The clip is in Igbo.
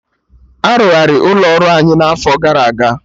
Arụgharị ụlọ ọrụ anyị n'afọ gara aga